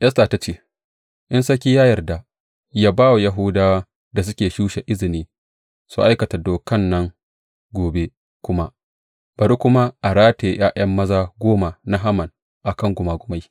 Esta ta ce, In sarki ya yarda, yă ba wa Yahudawa da suke Shusha izini su aikata dokan nan gobe kuma, bari kuma a rataye ’ya’ya maza goma na Haman a kan gumagumai.